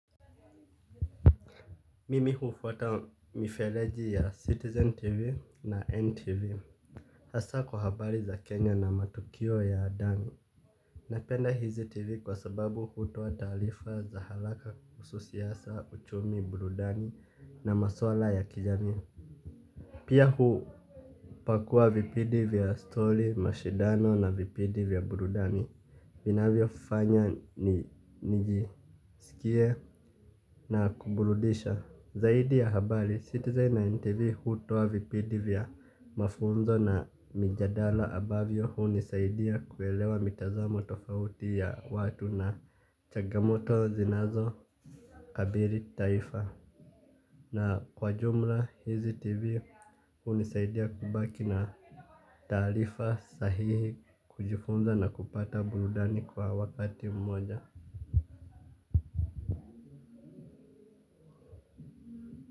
Mimi hufuata mifereji ya Citizen TV na NTV hasa kwa habari za Kenya na matukio ya ndani. Napenda hizi TV kwa sababu hutoa taarifa za haraka kuhusu siasa, uchumi, burudani na maswala ya kijamii. Pia hupakua vipindi vya stori mashindano na vipindi vya burudani. Ninavyofanya ni nyingi. Sikie na kuburudisha zaidi ya habari, Citizen na NTV hutoa vipindi vya mafunzo na mijadala ambavyo unisaidia kuelewa mitazamo tofauti ya watu na changamoto zinazo kabidhi taifa. Na kwa jumla, hizi TV unisaidia kubaki na taarifa sahihi kujifunza na kupata burudani kwa wakati mmoja.